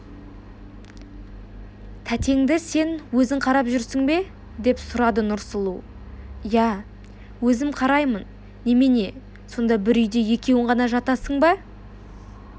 тәтеңді сен өзің қарап жүрсің бе деп сұрады нұрсұлу иә өзім қараймын немене сонда бір үйде екеуің ғана жатасың ба